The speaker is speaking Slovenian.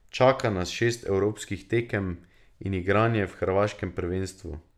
Čaka nas šest evropskih tekem in igranje v hrvaškem prvenstvu.